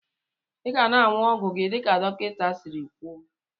Iga na anyụ ọgwụ gi dika dọkinta siri kwụọ.